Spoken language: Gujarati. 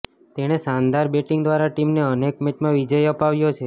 તેણે શાનદાર બેટિંગ દ્વારા ટીમને અનેક મેચમાં વિજય અપાવ્યો છે